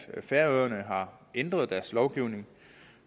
færøerne har ændret deres lovgivning